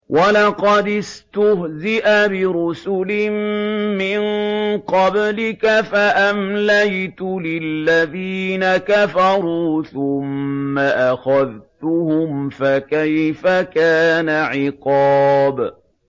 وَلَقَدِ اسْتُهْزِئَ بِرُسُلٍ مِّن قَبْلِكَ فَأَمْلَيْتُ لِلَّذِينَ كَفَرُوا ثُمَّ أَخَذْتُهُمْ ۖ فَكَيْفَ كَانَ عِقَابِ